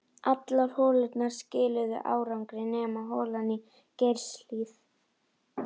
Allar holurnar skiluðu árangri nema holan í Geirshlíð.